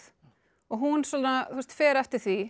og hún svona fer eftir því